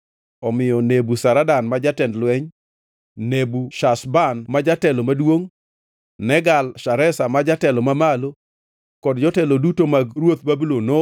Omiyo Nebuzaradan ma jatend lweny, Nebushazban ma jatelo maduongʼ, Negal-Shareza ma jatelo mamalo kod jotelo duto mag ruodh Babulon